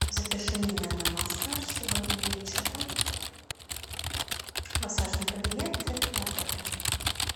запиши меня на массаж сегодня вечером в массажный кабинет этого отеля